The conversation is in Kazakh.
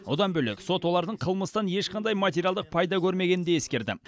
одан бөлек сот олардың қылмыстан ешқандай материалдық пайда көрмегенін де ескерді